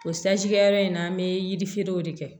O sanji kɛyɔrɔ in na an bɛ yirifeerew de kɛ